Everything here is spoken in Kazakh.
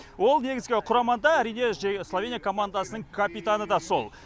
ол негізгі құрамада әрине словения командасының капитаны да сол